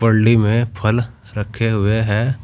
में फल रखे हुए हैं।